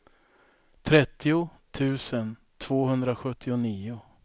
trettio tusen tvåhundrasjuttionio